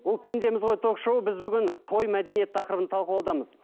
бұл пендеміз ғой ток шоуы біз бүгін той мәдениеті тақырыбын талқылаудамыз